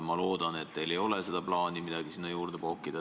Ma loodan, et teil ei ka ole plaani midagi sinna juurde pookida.